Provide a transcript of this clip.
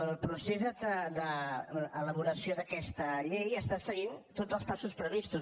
el procés d’elaboració d’aquesta llei segueix tots els passos previstos